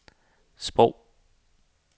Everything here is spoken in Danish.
sprog